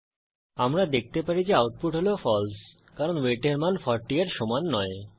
আমরা দেখতে পারি যে আউটপুট হল ফালসে কারণ ওয়েট এর মান 40 এর সমান নয়